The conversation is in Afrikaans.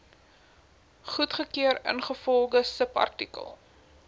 goedgekeur ingevolge subartikel